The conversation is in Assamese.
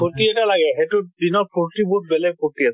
ফুৰ্তি এটা লাগে সেইটোত দিনত ফুৰ্তি বহুত বেলেগ ফুৰ্তি আছিলে।